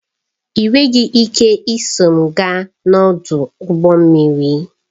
Ị nweghị ike iso m gaa n'ọdụ ụgbọ mmiri